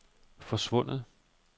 forsvundet